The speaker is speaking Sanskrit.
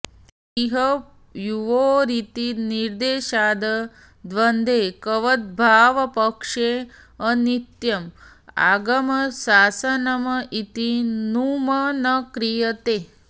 इह युवोरिति निर्देशाद् द्वन्द्वैकवद्भावपक्षे अनित्यम् आगमशासनम् इति नुम् न क्रियते